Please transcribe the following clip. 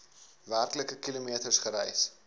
werklike kilometers gereis